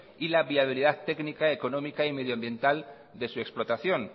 y la viabilidad técnica económica y medioambiental de su explotación